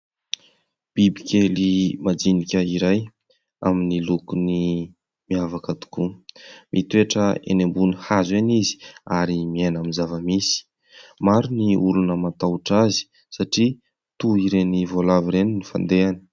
Biby kely majinika iray amin'ny lokony miavaka tokoa. Mitoetra eny ambony hazo ihany izy ary miaina amin'ny zava-misy. Maro ny olona matahotra azy satria toy iren'ny voalavo ireny ny fandehany.